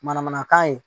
Manamanakan ye